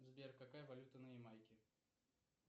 сбер какая валюта на ямайке